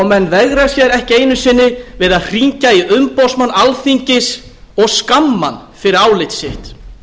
menn veigra sér ekki einu sinni við að hringja í umboðsmann alþingis og skamma hann fyrir álit sitt